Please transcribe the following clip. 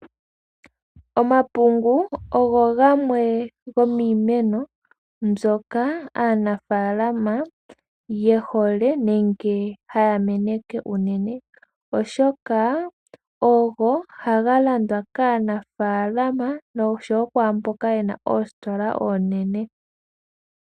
Omapungu ogo gamwe gomiimeno mbyoka aanafalama ye hole, nenge haya meneke unene oshoka, ohaga landwa kaanafaalama oshowo kwaa mboka ye na oositola oonene.